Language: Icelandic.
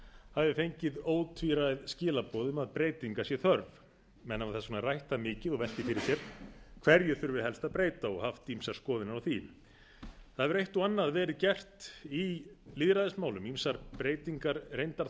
hafi fengið ótvíræð skilaboð um að breytinga sé þörf menn hafa þess vegna rætt þetta mikið og velt því fyrir sér hverju þurfi helst að breyta og haft ýmsar skoðanir á því það hefur eitt og annað verið gert í lýðræðismálum ýmsar breytingar reyndar þar